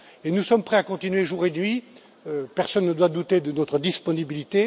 Nous sommes prêts à continuer jour et nuit, personne ne doit douter de notre disponibilité.